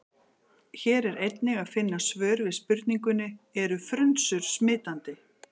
Hér er einnig að finna svar við spurningunni: Eru frunsur smitandi?